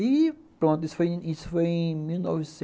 E pronto, isso foi em mil novecentos